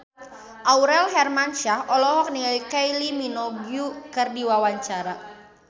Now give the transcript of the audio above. Aurel Hermansyah olohok ningali Kylie Minogue keur diwawancara